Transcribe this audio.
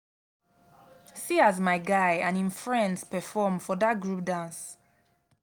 see as my guy and him friends perform for dat group dance